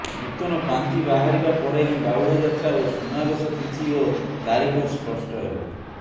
ନୂତନ ପାଞ୍ଜି ବାହାରିବା ପରେ ହିଁ ବାହୁଡ଼ାଯାତ୍ରା ଓ ସୁନାବେଶ ତିଥି ଓ ତାରିଖ ସ୍ପଷ୍ଟ ହେବ